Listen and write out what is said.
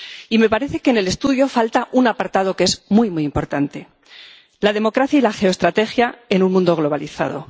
Y me parece que en el estudio falta un apartado que es muy, muy importante la democracia y la geoestrategia en un mundo globalizado